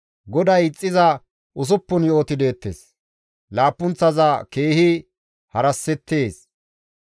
GODAY ixxiza usuppun yo7oti deettes; laappunththaza keehi harasettees.